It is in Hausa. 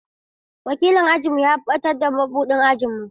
Wakilin ajinmu ya ɓatar da mabuɗin ajin mu.